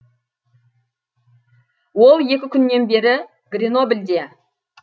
ол екі күннен бері гренобльде